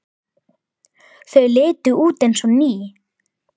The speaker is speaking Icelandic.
Þau litu út eins og ný.